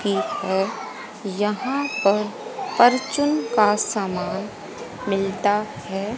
की हैं। यहाँ पर परचून का सामान मिलता हैं।